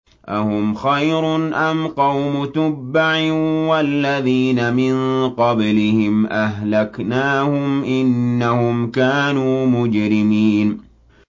أَهُمْ خَيْرٌ أَمْ قَوْمُ تُبَّعٍ وَالَّذِينَ مِن قَبْلِهِمْ ۚ أَهْلَكْنَاهُمْ ۖ إِنَّهُمْ كَانُوا مُجْرِمِينَ